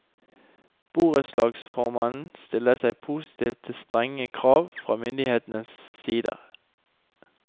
Borettslagsformannen stiller seg positiv til strenge krav fra myndighetenes side.